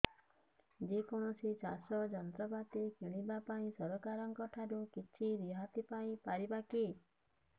ଯେ କୌଣସି ଚାଷ ଯନ୍ତ୍ରପାତି କିଣିବା ପାଇଁ ସରକାରଙ୍କ ଠାରୁ କିଛି ରିହାତି ପାଇ ପାରିବା କି